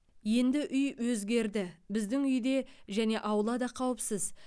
енді үй өзгерді біздің үй де және аула да қауіпсіз